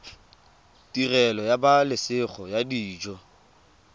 tirelo ya pabalesego ya dijo